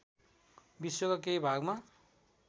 विश्वका केही भागमा